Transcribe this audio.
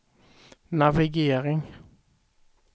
navigering